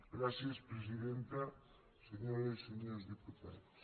gràcies presidenta senyores i senyors diputats